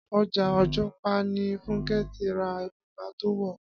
Ọjà Ògùnpa ni Fúnkẹ́ ti ra bùbá tó wọ̀